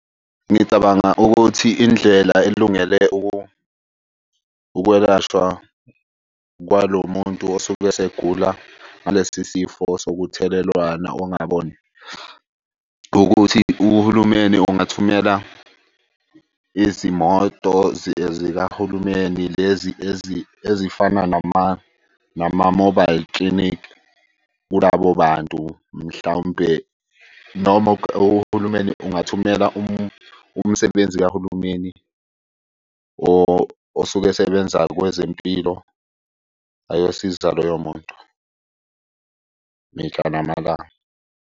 Ngicabanga ukuthi indlela elungele ukwelashwa kwalo muntu osuke esegula ngalesi sifo sokuthelelwana ongaboni ukuthi uhulumeni ungathumela izimoto zikahulumeni. Lezi ezifana nama-mobile clinic kulabo bantu. Mhlawumpe noma uhulumeni ungathumela umsebenzi kahulumeni osuke esebenza kwezempilo ayosiza loyo muntu mihla namalanga.